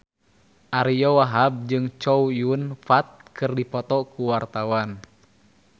Ariyo Wahab jeung Chow Yun Fat keur dipoto ku wartawan